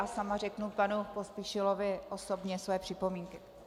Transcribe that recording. A sama řeknu panu Pospíšilovi osobně své připomínky.